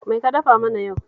Mai ka dafa mana yau